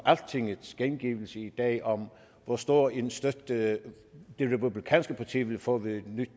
altingets gengivelse i dag af hvor stor en støtte det republikanske parti ville få ved et nyt